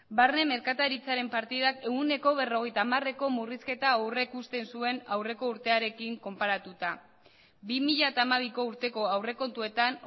barne merkataritzaren partidak ehuneko berrogeita hamareko murrizketa aurrikusten zuen aurreko urtearekin konparatuta bi mila hamabiko urteko aurrekontuetan